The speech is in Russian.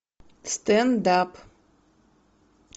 стенд ап